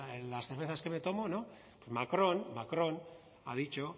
las cervezas que me tomo no macron macron ha dicho